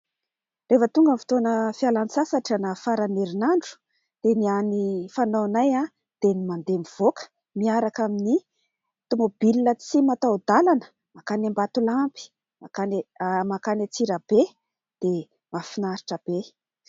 Rehefa tonga ny fotoana fialan-tsasatra na farany ny herinandro dia ny hany fanaonay dia ny mandeha mivoaka miaraka amin'ny tomobilina tsy mataho-dalana mankany Ambatolampy, mankany Antsirabe dia mahafinaritra be.